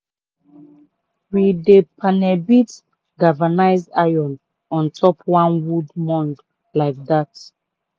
we dey panel beat galvanized iron on top one wooden mould like dat.